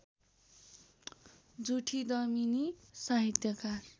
जुठी दमिनी साहित्यकार